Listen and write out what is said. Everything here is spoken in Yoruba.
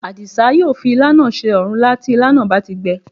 Àdìsá yóò fi ilá náà se òrúnlá tí ilá náà bá ti gbẹ